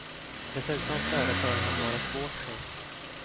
Dessutom föreföll han vara svårt sjuk.